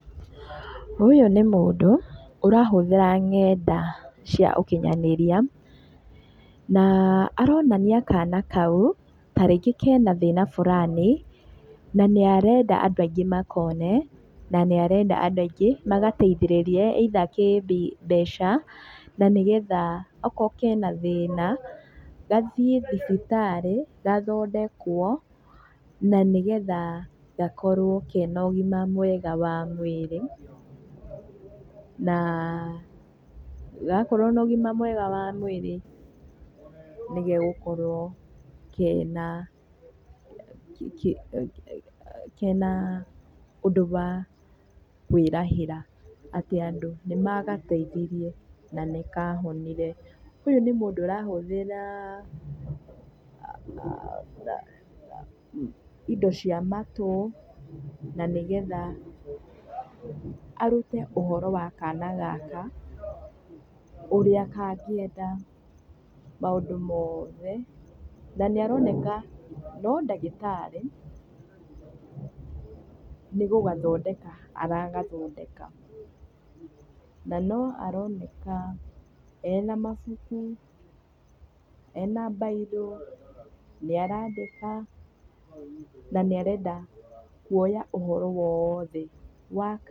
Ũyũ nĩ mũndũ ũrahũthĩra ng'enda cia ũkinyanĩria, na aronania kana kau ta rĩngĩ kena thĩna fulani na nĩarenda andũ aingĩ makone, na nĩarenda andũ aingĩ magateithĩrĩrie either kĩ mbeca, na nĩ getha okorwo kena thĩna gathíiĩ thibitarĩ gathondekwo na nĩgetha gakorwo kena ũgima mwega wa mwirĩ. Na gakorwo na ũgima mwega wa mwĩri nĩgegũkorwo kena, kena ũndũ wa kwĩrahĩra atĩ andũ nĩ magateithirie na nĩ kahonire. Ũyũ nĩ mũndũ ũrahũthĩra indo cia matũ na nĩ getha arũte ũhoro wa kana gaka; ũrĩa kangĩeda maũndũ mothe. Na nĩaroneka no dagĩtarĩ nĩgũgathodeka aragathodeka. Na no aroneka ena mabuku, ena mbairũ, nĩ arandĩka, na nĩarenda kuoya ũhoro wothe wa